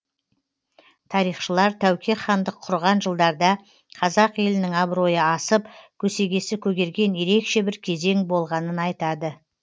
тарихшылар тәуке хандық құрған жылдарда қазақ елінің абыройы асып көсегесі көгерген ерекше бір кезең болғанын айтады